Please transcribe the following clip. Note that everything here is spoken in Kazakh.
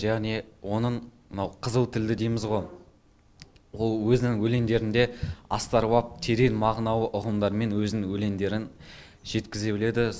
және оның мынау қызыл тілді дейміз ғо ол өзінің өлеңдерінде астарлап терең мағыналы ұғымдармен өзінің өлеңдерін жеткізе біледі